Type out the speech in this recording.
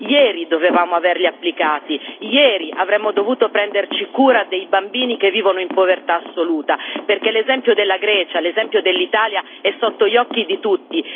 Ieri dovevamo avergli applicati, ieri avremmo dovuto prenderci cura dei bambini che vivono in povertà assoluta, perché l'esempio della Grecia e l'esempio dell'Italia sono sotto gli occhi di tutti.